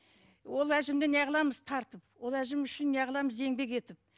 ол әжімді неғыламыз тартып ол әжім үшін неғыламыз еңбек етіп